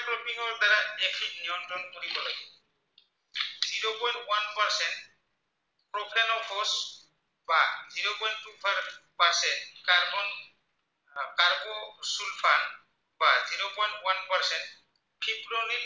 ঠিক ক্ৰমে